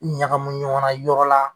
ɲagamu ɲɔgɔnna yɔrɔ la